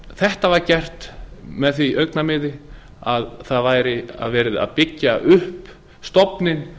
þetta var gert í því augnamiði að það væri verið að byggja upp stofninn